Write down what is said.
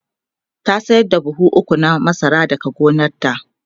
ta sayar da buhu ukwu na masara daga gonanta